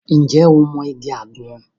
Ǹjẹ́ o mọ igi àgbọn?